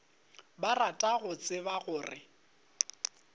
ba rata go tseba gore